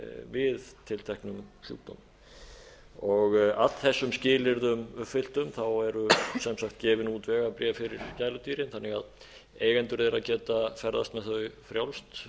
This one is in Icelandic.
við tilteknum sjúkdómum af þessum skilyrðum uppfylltum eru sem sagt gefin út vegabréf fyrir gæludýrin þannig að eigendur þeirra geta ferðast með þau frjálst